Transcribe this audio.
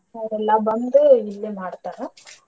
ಅವ್ರೆಲ್ಲ ಬಂದು ಇಲ್ಲೆ ಮಾಡ್ತಾರ.